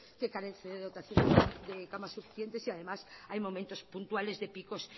que carece de dotaciones de camas suficientes y además hay momentos puntuales de picos